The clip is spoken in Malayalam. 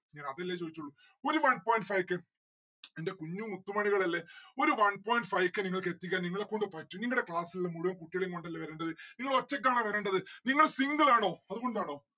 ഞാൻ അതെല്ലേ ചോയിച്ചുള്ളു. ഒരു one point five k എന്റെ പൊന്നു മുത്തുമണികൾ അല്ലെ. ഒരു one point five k നിങ്ങൾക്ക് എത്തിക്കാൻ നിങ്ങളെക്കൊണ്ട് പറ്റും നിങ്ങടെ class ഇലിള്ള മുഴുവൻ കുട്ടികളേം കൊണ്ടല്ലേ വരേണ്ടത് നിങ്ങൾ ഒറ്റക്കാണോ വരേണ്ടത്? നിങ്ങൾ single ആണോ? അതുകൊണ്ടാണോ?